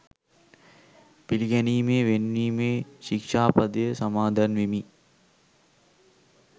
පිළිගැනීමේ වෙන් වීමේ ශික්‍ෂාපදය සමාදන් වෙමි.